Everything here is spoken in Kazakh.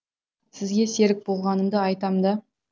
сізге серік болғанымды айтам да